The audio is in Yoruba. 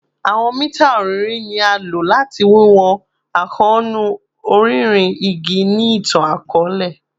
Awọn mita ọrinrin ni a lo lati wiwọn akoonu ọrinrin igi ni itan-akọọlẹ